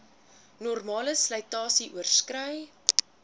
normale slytasie oorskrei